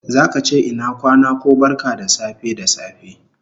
Zaka che ina kwana ko barka da safe da safe